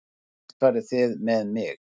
Hvert farið þið með mig?